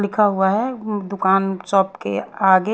लिखा हुआ है दुकान शॉप के आगे --